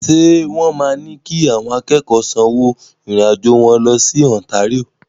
Ṣé wọ́n máa ní kí àwọn akẹ́kọ̀ọ́ sanwó fún ìrìn-àjò wọn lọ sí Ontario?